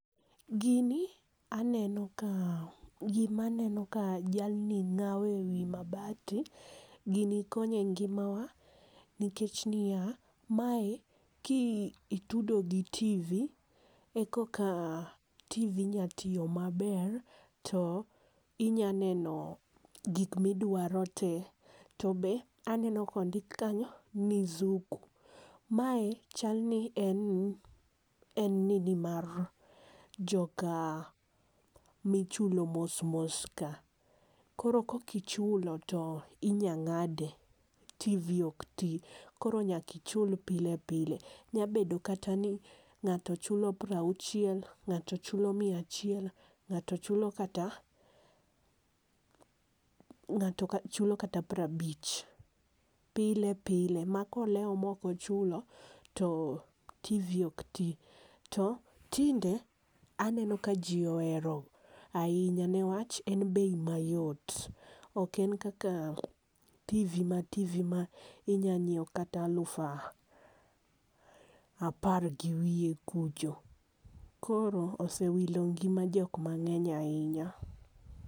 Gini aneno ka gi ma aneno ka jalni ng'awo e wi mabati, gini konyo en ngima wa nikech ni ya, mae ki itudo gi tv e koka tivi nya tiyo ma ber to inya neno gik mi idwaro te. To be aneno ka ondik kanyo ni zuku. Mae chal ni en nini en nini mar joka michulo mos mos ka koro kok ichulo to inya ng'adi tivi ok ti koro nyaka ichul pile pile nya bedo kata ni ng'ato chulo piero auchiel ,ng'ato chulo mia achiel, ng'ato chulo kata piero abich pile pile ma ko lewo ma ok ochulo to tivi ok ti. Ti tinde aneno ka ji ohero ainya nikech en bei ma yot ok en kaka tivi ma tivi ma inyalo ngiewo kata luf apar gi wiye kucho. koro osewilo ngima jok mangeny ainya.